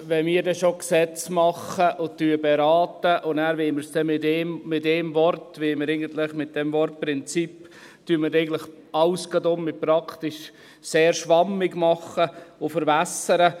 Wenn wir denn schon Gesetze machen und beraten, wollen wir danach mit einem Wort – mit diesem Wort «Prinzip» – gleich alles praktisch sehr schwammig machen und verwässern?